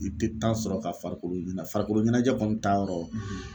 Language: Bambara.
I tɛ sɔrɔ ka farikolo ɲinɛ farikolo ɲɛnajɛ kɔni ta yɔrɔ